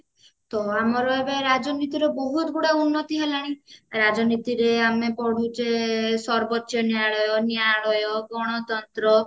ତ ଆମର ଏବେ ରାଜନୀତିର ବହୁତ ଗୁଡା ଉର୍ନତି ହେଲାଣି ରାଜନୀତିରେ ଆମେ ପଢୁଛେ ସରବୋଚ ନ୍ୟାୟଳୟ ନ୍ୟାୟଳୟ ଗଣତନ୍ତ୍ର